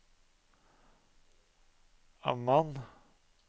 Amman